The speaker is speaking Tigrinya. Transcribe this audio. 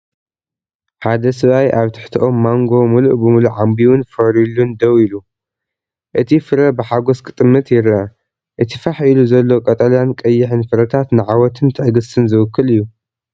ሓደ ሰብኣይ ኣብ ትሕቲ ኦም ማንጎ ምሉእ ብምሉእ ዓምቢቡን ፈርዩሉን ደው ኢሉ፡ ነቲ ፍረ ብሓጎስ ክጥምት ይርአ። እቲ ፋሕ ኢሉ ዘሎ ቀጠልያን ቀይሕን ፍረታት ንዓወትን ትዕግስትን ዝውክል እዩ።